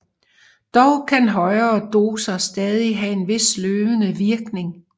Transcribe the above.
Dog kan højere doser stadig have en vis sløvende virkning